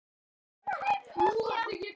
Hann var stór í sér.